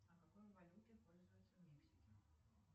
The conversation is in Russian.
а какой валютой пользуются в мексике